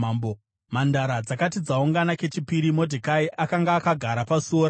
Mhandara dzakati dzaungana kechipiri, Modhekai akanga akagara pasuo ramambo.